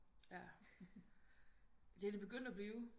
Ja det er de begyndt at blive